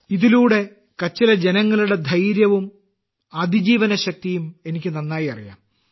ഇതിലൂടെ കച്ചിലെ ജനങ്ങളുടെ ധൈര്യവും അതിജീവനശക്തിയും എനിക്ക് നന്നായി അറിയാം